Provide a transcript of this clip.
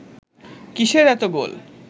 কিসের এত গোল